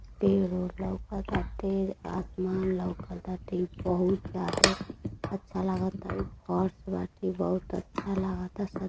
पेर -ओर लउकताटे आसमान लउकताटे बहुत जादे अच्छा लागता। ई फर्श बाटे बहुत अच्छा लागता। स --